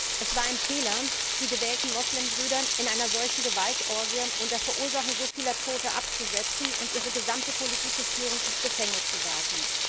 Herr Präsident! Es war ein Fehler, die gewählten Muslimbrüder in einer solchen Gewaltorgie unter Verursachung so vieler Toter abzusetzen und ihre gesamte politische Führung ins Gefängnis zu werfen.